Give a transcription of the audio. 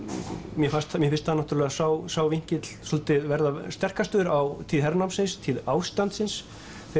mér finnst mér finnst sá sá vinkill svolítið vera sterkastur á tíð hernámsins tíð ástandsins